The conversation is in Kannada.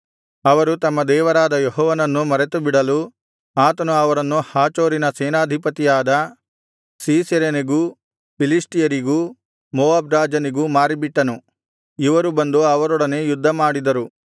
ಅವರು ತಮ್ಮ ದೇವರಾದ ಯೆಹೋವನನ್ನು ಮರೆತುಬಿಡಲು ಆತನು ಅವರನ್ನು ಹಾಚೋರಿನ ಸೇನಾಧಿಪತಿಯಾದ ಸೀಸೆರನಿಗೂ ಫಿಲಿಷ್ಟಿಯರಿಗೂ ಮೋವಾಬ್‌ ರಾಜನಿಗೂ ಮಾರಿಬಿಟ್ಟನು ಇವರು ಬಂದು ಅವರೊಡನೆ ಯುದ್ಧಮಾಡಿದರು